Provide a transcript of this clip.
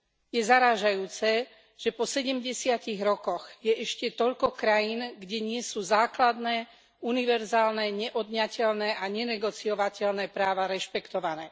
Je zarážajúce, že po sedemdesiatich rokoch je ešte toľko krajín, kde nie sú základné, univerzálne, neodňateľné a nenegociovateľné práva rešpektované.